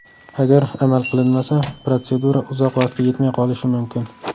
Agar amal qilinmasa, protsedura uzoq vaqtga yetmay qolishi mumkin.